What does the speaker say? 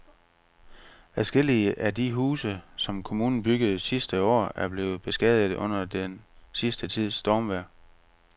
Adskillige af de huse, som kommunen byggede sidste år, er blevet beskadiget under den sidste tids stormvejr.